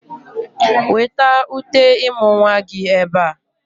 Weta uté ịmụ̀ nwa gị ebe a!